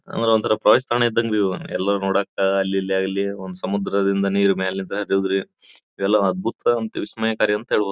ಆಮೇಲೆ ಒಂತರ ಫ್ರೆಶ್ ತಾಣ ಇದ್ದಂಗರಿ ಎಲ್ಲರು ನೋಡೋಕೆ ಅಲ್ಲಿ ಇಲ್ಲಿ ಯಾಗಲಿ ಒಂದು ಸಮುದ್ರ ದಿಂದ ನೀರು ಮೇಲೆ ಹರಿಯುದ್ರಿ ಅಂದ್ರೆ ಎಲ್ಲ ಅದ್ಭುತ ವಿಸ್ಮಯಕಾರಿ ಅಂತ ಹೇಳ್ಬೋದು.